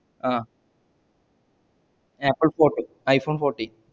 ah Apple float iphone forty